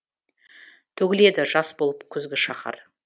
төгіледі жас болып күзгі шаһар